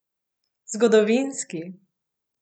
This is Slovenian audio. Zgodovinski!